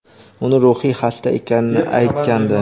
uni ruhiy xasta ekanini aytgandi.